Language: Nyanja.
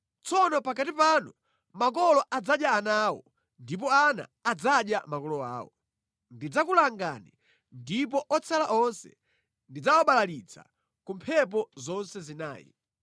Tsono pakati panu makolo adzadya ana awo, ndipo ana adzadya makolo awo. Ndidzakulanga ndipo otsala onse ndidzawabalalitsa ku mphepo zonse zinayi.